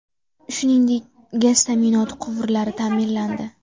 Shuningdek, gaz ta’minoti quvurlari ta’mirlandi.